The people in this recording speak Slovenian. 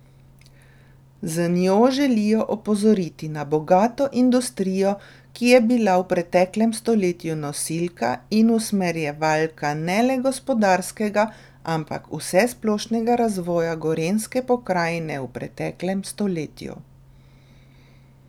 Z njo želijo opozoriti na bogato industrijo, ki je bila v preteklem stoletju nosilka in usmerjevalka ne le gospodarskega, ampak vsesplošnega razvoja gorenjske pokrajine v preteklem stoletju.